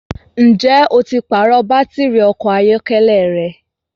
Ǹjẹ́ o ti pàrọ̀ bàtìrì ọkọ̀ ayọ́kẹ́lẹ́ rẹ?